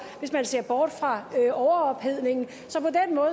hvis man ser bort fra overophedningen